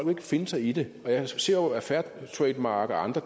vil finde sig i det jeg ser jo at fair trade mark og andre